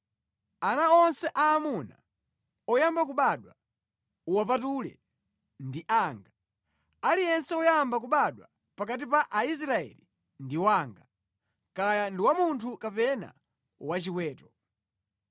“Ana onse aamuna oyamba kubadwa uwapatule, ndi anga. Aliyense woyamba kubadwa pakati pa Aisraeli ndi wanga, kaya ndi wa munthu kapena wa chiweto.”